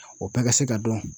O bɛɛ ka se ka dɔn.